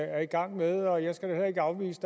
er i gang med og jeg skal da heller ikke afvise